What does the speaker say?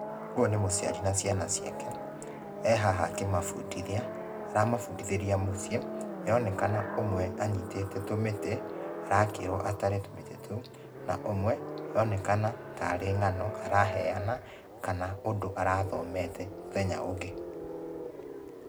Ũyũ nĩ mũciari na ciana ciake. Ehaha akimabundithia, aramabundithĩria mũciĩ. Nĩ aronekana ũmwe anyitĩte tũmĩtĩ, arakĩrwo atare tũmĩtĩ tũu. Na ũmwe nĩ aronekana tarĩ ng'ano araheana, kana ũndũ arathomete mũthenya ũngĩ.